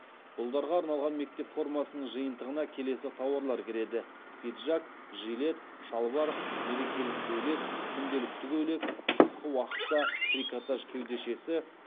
ұлдарға арналған мектеп формасының жиынтығына келесі тауарлар кіреді пиджак жилет шалбар мерекелік көйлек күнделікті көйлек қысқы уақытта трикотаж кеудешесі